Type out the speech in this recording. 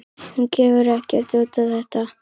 Hún gefur ekkert út á þetta.